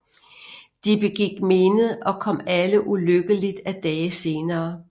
De begik mened og kom alle ulykkeligt af dage senere